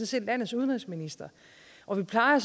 set landets udenrigsminister og vi plejer